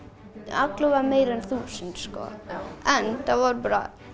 alla vega meira en þúsund en það voru bara